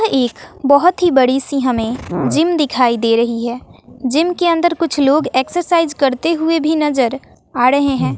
यह एक बहोत ही बड़ी सी हमें जिम दिखाई दे रही है जिम के अंदर कुछ लोग एक्सरसाइज करते हुए भी नजर आ रहे हैं।